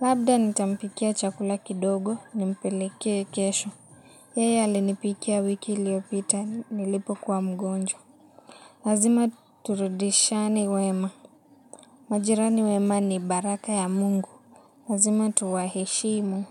Labda nitampikia chakula kidogo nimpelekee kesho. Yeye alinipikia wiki iliopita nilipo kuwa mgonjwa. Lazima turudishiane wema. Majirani wema ni baraka ya mungu. Lazima tuwaheshimu.